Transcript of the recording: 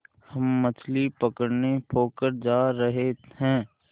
हम मछली पकड़ने पोखर जा रहें हैं